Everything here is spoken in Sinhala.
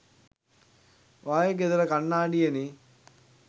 ඔයා ගේ ගෙදර කණ්ණාඩියේ නේ